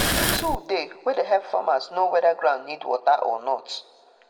tool dey wey de help farmers know wether ground need water or not